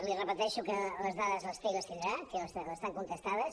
li repeteixo que les dades les té i les tindrà que estan contestades